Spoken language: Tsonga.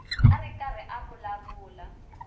a ri karhi a vulavula